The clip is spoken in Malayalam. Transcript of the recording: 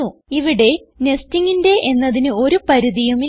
ഇവിടെ Nestingന്റെ എന്നതിന് ഒരു പരിധിയും ഇല്ല